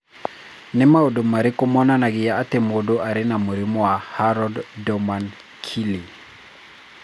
Nĩ maũndũ marĩkũ monanagia atĩ mũndũ arĩ na mũrimũ wa Harrod Doman Keele?